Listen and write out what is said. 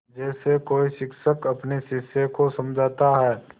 जैसे कोई शिक्षक अपने शिष्य को समझाता है